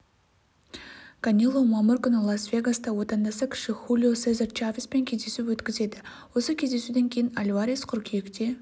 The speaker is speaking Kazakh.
канело мамыр күні лас-вегаста отандасы кіші хулио сезар чавеспен кездесу өткізеді осы кездесуден кейін альварес қыркүйекте